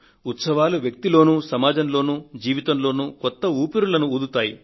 ఉత్సవాలు వ్యక్తిలో సమాజంలో జీవితంలో కొత్త ఊపిరులను ఊదుతాయి